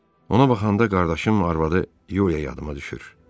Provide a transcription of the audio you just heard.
Ona baxanda qardaşım arvadı Yuliya yadıma düşür.